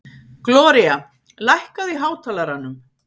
Gloría, lækkaðu í hátalaranum.